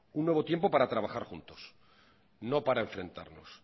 un nuevo tiempo para trabajar juntos no para enfrentarnos